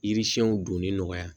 Yiri siɲɛnw donni nɔgɔya